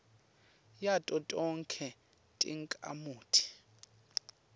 yato tonkhe takhamuti